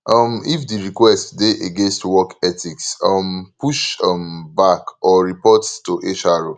um if di request dey against work ethics um push um back or report to hr